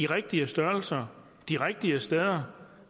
rigtige størrelser de rigtige steder